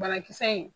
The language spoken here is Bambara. Banakisɛ in